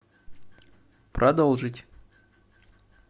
продолжить